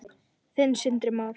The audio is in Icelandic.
Þinn, Sindri Már.